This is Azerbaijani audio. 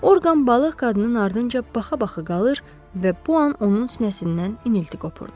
Orqan balıq qadının ardınca baxa-baxa qalır və bu an onun sinəsindən inilti qopurdu.